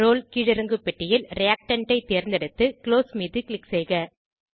role கீழிறங்கு பெட்டியில் reactant ஐ தேர்ந்தெடுத்து குளோஸ் மீது க்ளிக் செய்க